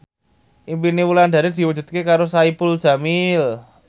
impine Wulandari diwujudke karo Saipul Jamil